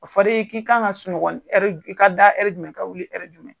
O fɔ l'i ye k'i ka kan ka sunɔgɔ ka da jumɛn ka wuli jumɛn